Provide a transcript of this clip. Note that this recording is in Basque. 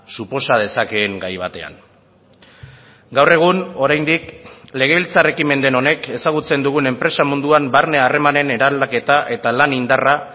suposa dezakeen gai batean gaur egun oraindik legebiltzar ekimen den honek ezagutzen dugun enpresa munduan barne harremanen eraldaketa eta lan indarra